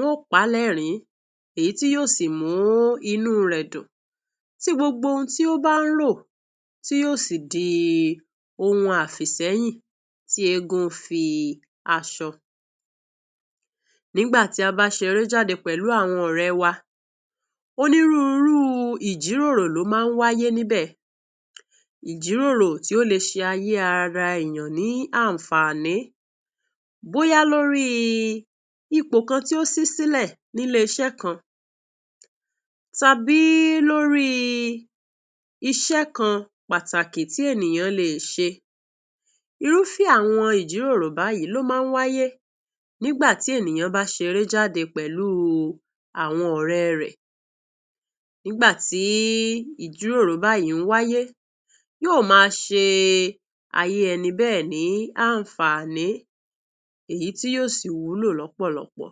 Wọ́. n pa ènìyàn ní ẹ.́rín, èyí tí yóò sì mú inú rẹ.̀ dùn. Tí gbogbo ohun tí ó bá rò yóò sì di ohun àfíṣẹ.́yìn tí ègún fẹ.́ aso Nígbà tí a bá ṣeré jáde pẹ.̀lú àwọn ọ.̀ rẹ.́ wa, onírúurú ìjìròrò ló máa wáyé níbẹ.̀ ìjìròrò tí ó lè fún ararẹ ní àǹfààní, bóyá lórí ipò kan tí ó ṣẹlẹ.̀ ní inú ilé iṣẹ.́ kan, tàbí lórí iṣẹ.́ kan pàtàkì tí ènìyàn lè ṣe. Irúfẹ.́ ìjìròrò báyìí ló máa wáyé nígbà tí ènìyàn bá ṣeré jáde pẹ.̀lú àwọn ọ.̀ rẹ.́. Nígbà tí ìjìròrò bá wáyé, yóò máa ṣe ayé ènìyàn bẹ.́ ẹ.̀ ní àǹfààní, èyí yóò sì wúlò lọ.́ pọ.̀ lọpọ.̀